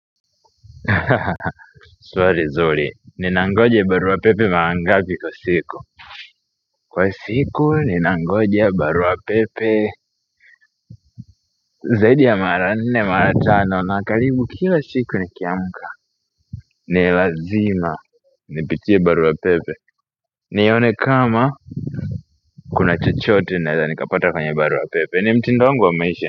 Hahaha swali nzuri. Ninangoja barua pepe mara ngapi kwa siku. Kwa siku ninangoja barua pepe zaidi ya mara nne, mara tano na karibu kila siku nikiamka. Ni lazima nipitie barua pepe. Nione kama kuna chochote naweza nikapata kwenye barua pepe. Ni mtindo wangu wa maisha.